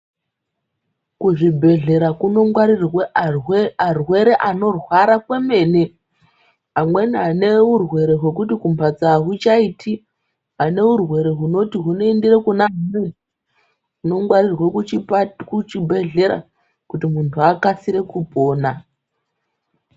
Kuzvibhedhlera kunongwarirwe arwere anorwara kwemene, amweni ane urwere hwekuti kumhatso ahuchaiti, aneurwere hunoti hunoende Kuna kunongwarirwe kuchibhehlera kuti muntu akasire kupona.